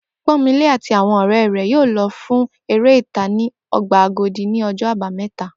Pó̩nmilé àti àwo̩n ò̩ré̩ rè̩ yóò lo̩ fún eré ìta ní o̩gbà Agodi ní o̩jó̩ Àbámé̩ta